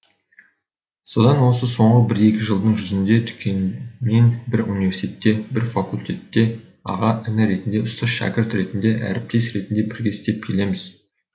содан осы соңғы бір екі жылдың жүзінде дүкенмен бір университетте бір факультетте аға іні ретінде ұстаз шәкірт ретінде әріптес ретінде бірге істеп келеміз